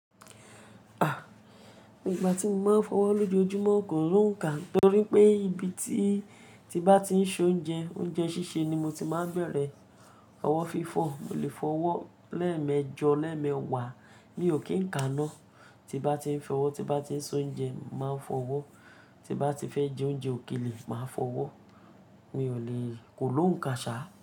A! Nígbà tí mo máa ń fọwọ́ lójoojúmọ́ kò lóǹká torí pé ibi tí bá ti ń ṣoúnjẹ, oúnjẹ sísè ni mo ti máa ń bẹ̀rẹ̀, ọwọ́ fi fọ̀, mo lè fọwọ́ lẹ́ẹ̀mẹjọ, lẹ́ẹ̀mẹwàá mi ò kí ń ka ná. Ti bá ti ń fọwọ́, ti bá ti ń ṣoúnjẹ máa fọwọ́, ti bá ti fẹ́ jẹ oúnjẹ òkèlè máa fọwọ́, mi ò lè kò lóǹká ṣá.